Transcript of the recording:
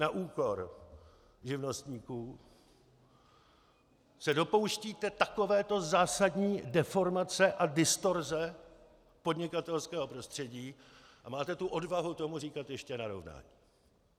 Na úkor živnostníků se dopouštíte takovéto zásadní deformace a distorze podnikatelského prostředí a máte tu odvahu tomu říkat ještě narovnání.